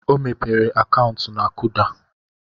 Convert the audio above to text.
O mepere akaụntụ na Kuda.